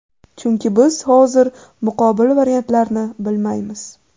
Chunki biz hozir muqobil variantlarni bilmaymiz.